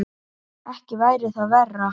Ekki væri það verra!